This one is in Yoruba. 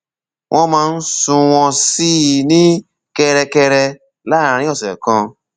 wọn máa ń sunwọn sí i ní kẹrẹkẹrẹ láàárín ọsẹ kan